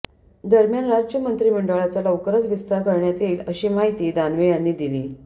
दरम्यान राज्य मंत्रीमंडळाचा लवकरच विस्तार करण्यात येईल अशी माहिती दानवे यांनी दिली